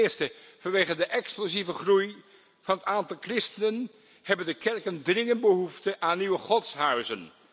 Ten eerste vanwege de explosieve groei van het aantal christenen hebben de kerken dringend behoefte aan nieuwe godshuizen.